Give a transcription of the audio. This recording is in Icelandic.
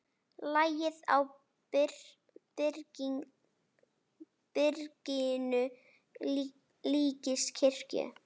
Lagið á byrginu líkist kirkju.